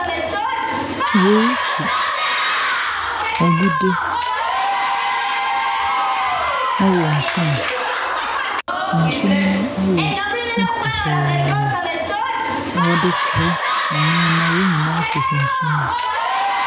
Wɔretu agudi ɛwɔ nsuo mu na nsuo n'ani ayɛ finn pɔtɔɔ. Na ɔde kora ne nneɛma wɔn nyinaa sisi nsu ne mu.